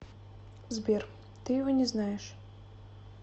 сбер ты его не знаешь